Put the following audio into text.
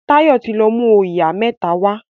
Tayo tí lọ mú oyà mẹ́ta wá